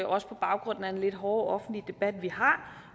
også på baggrund af den lidt hårde offentlige debat vi har